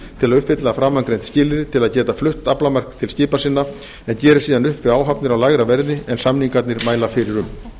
til að uppfylla framangreind skilyrði til að geta flutt aflamark til skipa sinna en geri síðan upp við áhafnir á lægra verði en samningarnir mæla fyrir um